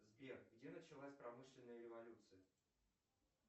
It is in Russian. сбер где началась промышленная революция